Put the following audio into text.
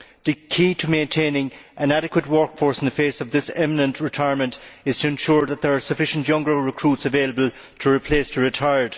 The key to maintaining an adequate workforce in the face of this imminent retirement is to ensure that there are sufficient younger recruits available to replace those who retire.